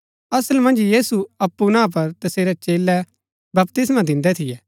[असल मन्ज यीशु अप्पु ना पर तसेरै चेलै बपतिस्मा दिन्दै थियै]